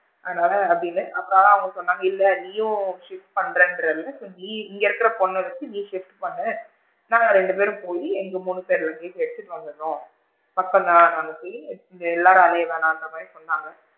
அதனால அப்படின்னு அப்ப தான் அவுங்க சொன்னாங்க இல்ல நீயும் shift பன்றேன்ரில இங்க இருக்க பொண்ண வச்சு நீயும் shift பண்ணு நாங்க ரெண்டு பெரும் போயி எங்க மூணு பேரோட luggage எடுத்துட்டு வந்திடுறோம் பக்கம் தான் நாங்க போயி நீங்க எல்லாரும் அலைய வேண்டன்ர மாதிரி சொன்னாங்க.